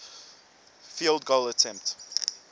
field goal attempt